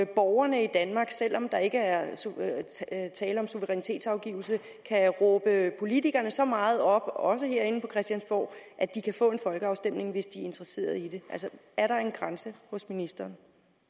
borgerne i danmark selv om der ikke er tale om suverænitetsafgivelse kan råbe politikerne så meget op også herinde på christiansborg at de kan få en folkeafstemning hvis de er interesserede i det altså er der en grænse hos ministeren